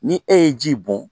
Ni e ye ji bɔn